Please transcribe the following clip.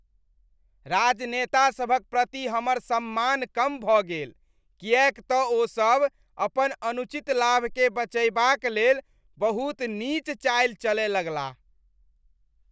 राजनेतासभक प्रति हमर सम्मान कम भऽ गेल किएक तऽ ओसभ अपन अनुचित लाभकेँ बचयबाक लेल बहुत नीच चालि चलए लगलाह ।